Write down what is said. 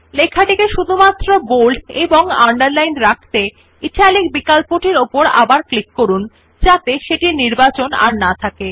lশিরোনাম টিকে বোল্ড এবং আন্ডারলাইন রাখতে ইটালিক বিকল্পটির উপর আবার ক্লিক করুন যাতে সেটির নির্বাচন না থাকে